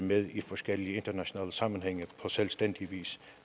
med i forskellige internationale sammenhænge på selvstændig vis